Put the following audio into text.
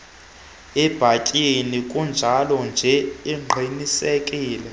ibhatyi kunjalonje aqinisekise